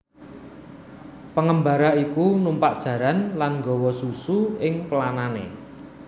Pengembara iku numpak jaran lan gawa susu ing pelanane